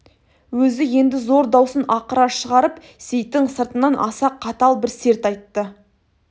өзі енді зор даусын ақыра шығарып сейіттің сыртынан аса қатал бір серт айтты